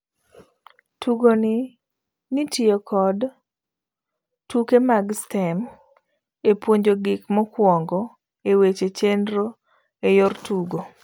Tugoni netiyo kod tuke mag STEAM epuonjo gik mokwongo eweche chenro eyor tugo.